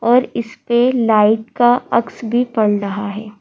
और इस पे लाइट का अक्स भी पड़ रहा है।